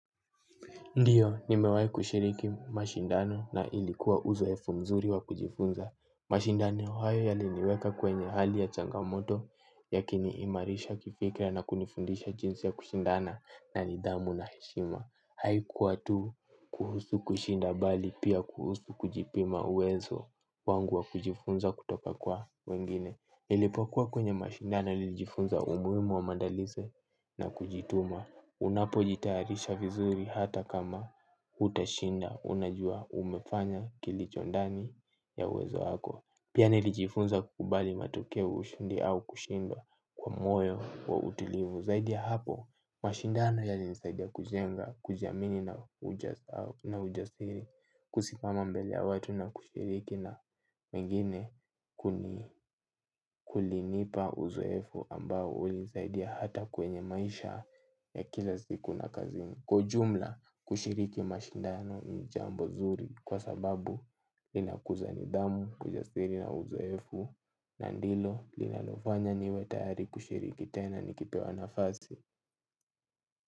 Ndiyo, nimewahi kushiriki mashindano na ilikuwa uzoefu mzuri wa kujifunza. Mashindano hayo yaliniweka kwenye hali ya changamoto, yakiniimarisha kifikra na kunifundisha jinsi ya kushindana na nidhamu na heshima. Haikuwa tu kuhusu kushinda bali pia kuhusu kujipima uwezo wangu wa kujifunza kutoka kwa wengine. Nilipokuwa kwenye mashindano nilijifunza umuhimu wa maandalizi na kujituma. Unapojitayarisha vizuri hata kama hutashinda unajua umefanya kilichondani ya uwezo wako. Pia nilijifunza kukubali matokeo ushindi au kushindwa kwa moyo wa utulivu. Zaidi ya hapo, mashindano yalinisaidia kujenga, kujiamini na ujasiri. Kusimama mbele ya watu na kushiriki na wengine kulinipa uzoefu ambao ulinisaidia hata kwenye maisha ya kila siku na kazi. Kwa ujumla kushiriki mashindano ni jambo zuri kwa sababu linakuza nidhamu ujasiri na uzoefu na ndilo linalofanya niwe tayari kushiriki tena nikipewa nafasi.